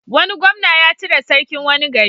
Wani gwamna ya cire sarkin wani gari.